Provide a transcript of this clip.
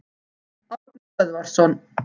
Árni Böðvarsson.